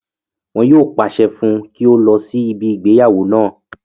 Wọn yóò pàṣẹ fún un kí ó lọ sí ibi ìgbéyàwó náà